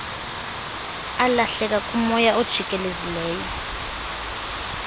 alahleka kumoya ojikelezileyo